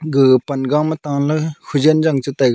ga panga ma taley hojen jang che taiga.